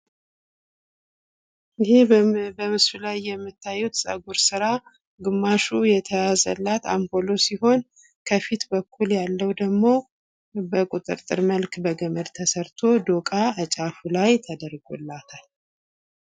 ይህ በምስሉ ላይ የምታዩት ጸጉር ስራ ግማሽ የተያዘላት አምፖሎ ሲሆን ከፊት በኩል ያለው ደግሞ በቁጥርጥር መልክ በገመድ ተሰርቶ ዶቃ ከጫፉ ላይ ተደርጎላታል።